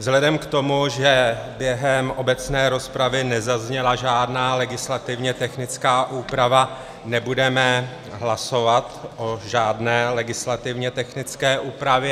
Vzhledem k tomu, že během obecné rozpravy nezazněla žádná legislativně technická úprava, nebudeme hlasovat o žádné legislativně technické úpravě.